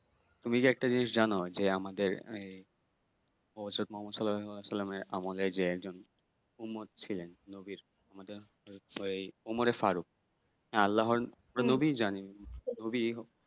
তুমি কি একটা জিনিস জানো যে আমাদের এই আমলের যে একজন মোহাম্মদ ছিলেন নবীর ফারুক